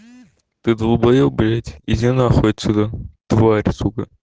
ты долбаеб блять иди нахуй отсюда тварь сука